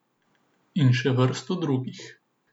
In še vrsto drugih.